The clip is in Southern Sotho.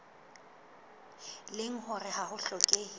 leng hore ha ho hlokehe